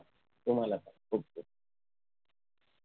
तुम्हाला पण खूप खूप